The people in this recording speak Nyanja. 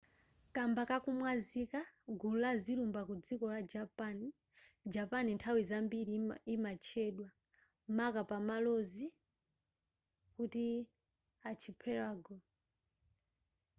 kamba kakumwazika/gulu la zilumba ku dziko la japan japan nthawi zambiri imatchedwa maka pazamalozi kuti archipelago